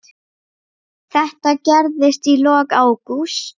Þetta gerðist í lok ágúst.